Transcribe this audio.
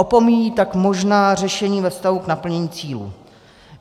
Opomíjí tak možná řešení ve vztahu k naplnění cílů.